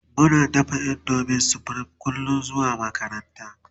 Muna dafa indomin supreme kullum zuwa makaranta